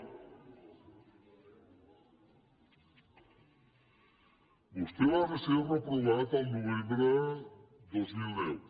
vostè va ser reprovat el novembre dos mil deu